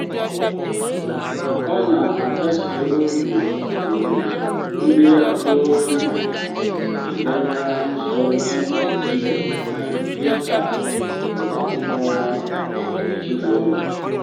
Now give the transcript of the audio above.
ọ na-akasi obi mgbe ndị agbata obi na-emeso ibe ibe ha dị ka akụkụ nke èzinùlọ̀ ùkwù.